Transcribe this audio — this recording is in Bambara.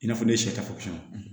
I n'a fɔ ne ye sɛfan